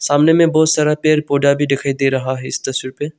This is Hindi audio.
सामने में बहुत सारा पेर पौधा भी दिखाई दे रहा है इस तस्वीर पे।